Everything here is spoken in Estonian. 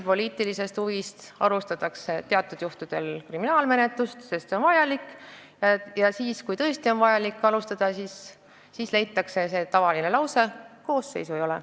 Jah, pigem tõesti alustatakse teatud juhtudel kriminaalmenetlust just poliitilisest huvist, sest see on vajalik, aga kui oleks tõesti vaja menetlust alustada, öeldakse see tavaline lause, et kuriteokoosseisu ei ole.